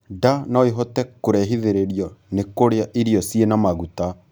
Nda noĩhote kurehithĩrĩrio ni kurĩa irio ciĩna maguta